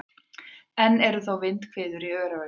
Enn eru þó vindhviður í Öræfunum